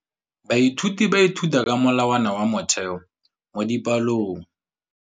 Baithuti ba ithuta ka molawana wa motheo mo dipalong.